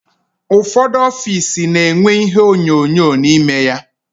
Ụfọdụ ọffici na-enwe ihe onyonyo n'ime ya.